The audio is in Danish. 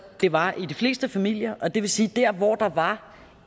det var i de fleste familier og det vil sige at der hvor der var